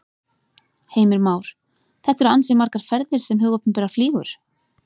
Heimir Már: Þetta eru ansi margar ferðir sem hið opinbera flýgur?